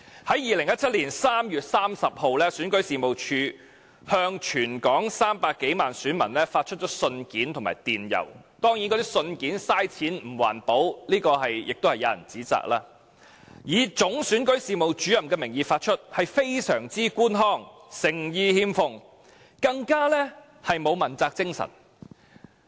在2017年3月30日，選舉事務處向全港300多萬選民發出信件和電郵——當然，亦有人指責那些信件是浪費金錢及不環保——以總選舉事務主任的名義發出，非常官腔，誠意欠奉，更沒有問責精神。